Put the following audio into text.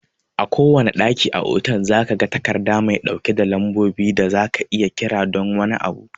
A kowanne ɗaki a otal, zaka ga takarda mai ɗauke da lambobin da zaka iya kira don wani abu